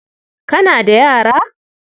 Kana da yara?